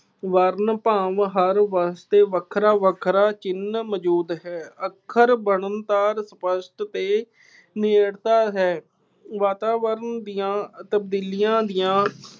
ਵਰਨ ਭਾਵ ਹਰ ਵਾਸਤੇ ਵੱਖਰਾ ਵੱਖਰਾ ਚਿੰਨ੍ਹ ਮੌਜੂਦ ਹੈ। ਅੱਖਰ ਬਣਨ ਸਾਰ ਵਸਤ ਦੇ ਨੇੜਤਾ ਹੈ। ਵਾਤਾਵਰਣ ਦੀਆਂ ਤਬਦੀਲੀਆਂ ਦੀਆਂ